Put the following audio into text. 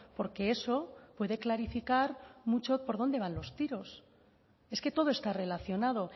porque eso puede clarificar mucho por dónde van los tiros es que todo está relacionado